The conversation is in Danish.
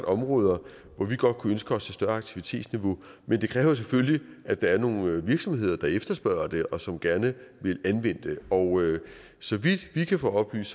områder hvor vi godt kunne ønske os et større aktivitetsniveau men det kræver selvfølgelig at der er nogle virksomheder der efterspørger det og som gerne vil anvende det og så vidt vi kan få oplyst